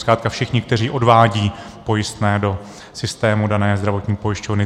Zkrátka všichni, kteří odvádějí pojistné do systému dané zdravotní pojišťovny.